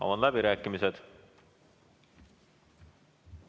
Avan läbirääkimised.